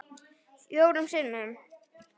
Fjórum sinnum